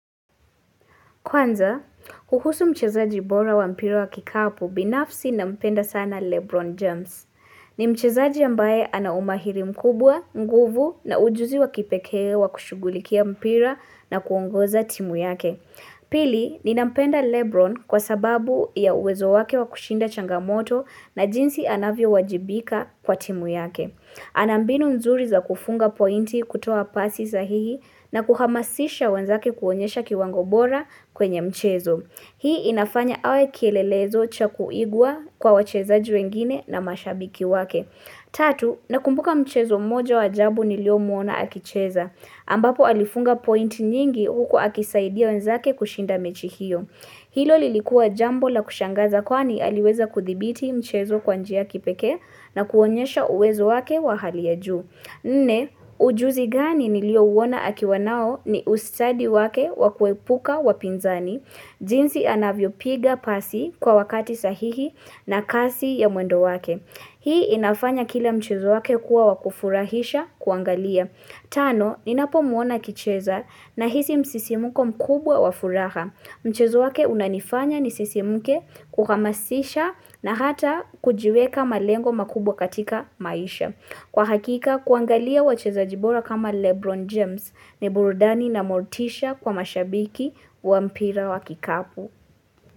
Kwanza, kuhusu mchezaji bora wa mpira wa kikapu binafsi nampenda sana Lebron James. Ni mchezaji ambaye anaumahiri mkubwa, nguvu na ujuzi wa kipekee wa kushughulikia mpira na kuongoza timu yake. Pili, ninampenda Lebron kwa sababu ya uwezo wake wa kushinda changamoto na jinsi anavyo wajibika kwa timu yake. Anambinu nzuri za kufunga pointi kutoa pasi sahihi na kuhamasisha wenzake kuonyesha kiwango bora kwenye mchezo. Hii inafanya awe kielelezo cha kuigwa kwa wachezaji wengine na mashabiki wake. Tatu, nakumbuka mchezo moja wa ajabu niliomuona akicheza, ambapo alifunga point nyingi huko akisaidia wenzake kushinda mechi hiyo. Hilo lilikua jambo la kushangaza kwani aliweza kuthibiti mchezo kwa njia ya kipekee na kuonyesha uwezo wake wa hali ya juu. Nne, ujuzi gani niliouona akiwa nao ni ustadi wake wakuepuka wapinzani, jinsi anavyo piga pasi kwa wakati sahihi na kasi ya mwendo wake. Hii inafanya kila mchezo wake kuwa wakufurahisha kuangalia. Tano, ninapo muona akicheza nahisi msisimuko mkubwa wa furaha. Mchezo wake unanifanya nisisimuke kuhamasisha na hata kujiweka malengo makubwa katika maisha. Kwa hakika kuangalia wachezaji bora kama Lebron James ni burudani na motisha kwa mashabiki wa mpira wa kikapu.